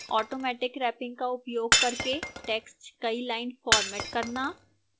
automatic wrapping का उपयोग करके text कई lines format करना